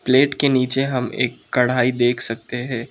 Plate के नीचे हम एक कड़ाही देख सकते हैं।